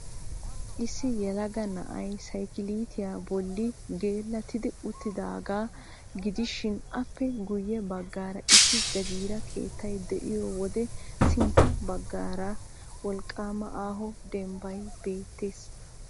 Issi yelaga na'ay saykiliitiya bolli geellatidi uttidaagaa gidishin appe guyye baggaara issi jagiira keettay de'iyo wode sintta baggaara wolqqaama aaho dembbay beettees.